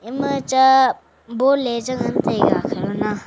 ema cha ball ye chi ngantaiga khalona.